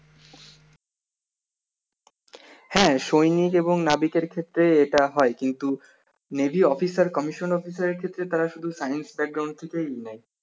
হ্যা সৈনিক এবং নাবিকের ক্ষেত্রে এটা হয় কিন্তু Navy officer commission officer এর ক্ষেত্রে তারা এগুলো science থেকে নেয়